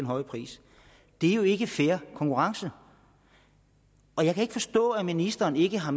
høje pris det er jo ikke fair konkurrence jeg kan ikke forstå at ministeren ikke har